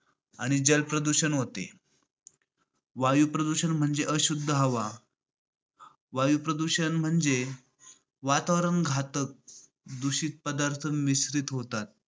आणि जल प्रदूषण होते. वायू प्रदूषण म्हणजे अशुद्ध हवा वायू प्रदूषण म्हणजे म्हणजे वातावरण घातक पदार्थ दूषित पदार्थ मिश्रित होतात.